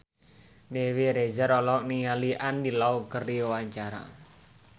Dewi Rezer olohok ningali Andy Lau keur diwawancara